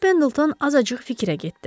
Con Pendleton azacıq fikrə getdi.